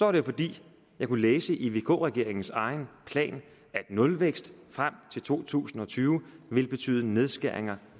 er det fordi jeg kunne læse i vk regeringens egen plan at nulvækst frem til to tusind og tyve vil betyde nedskæringer